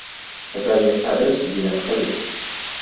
покажи адрес где я нахожусь